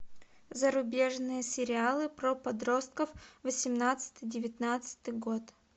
зарубежные сериалы про подростков восемнадцатый девятнадцатый год